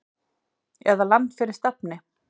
eða Land fyrir stafni!